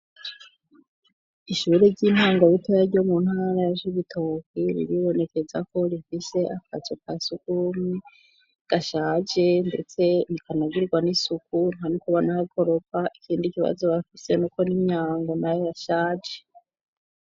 Ishuri ry'intango ritoya ryo mu ntara ya cibitoke riribonekeza ko rifise akazu kasugumwe gashaje ndetse ntikanagirirwa n'isuku ntanuko banahakoropa, ikindi kibazo bafise nuko n'imyango nayo yashaje.